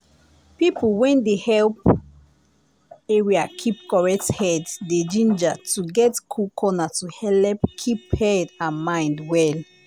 people when dey helep area keep correct head dey ginger to get cool corner to helep keep head and mind well.